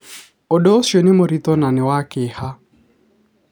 Ũndũ ũcio nĩ mũritũ na nĩ wa kĩeha.